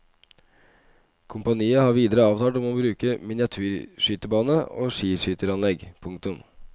Kompaniet har videre avtale om bruk av miniatyrskytebane og skiskytteranlegg. punktum